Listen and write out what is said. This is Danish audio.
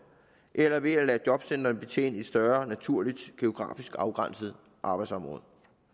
eller ved at lade jobcentrene betjene et større naturligt geografisk afgrænset arbejdsområde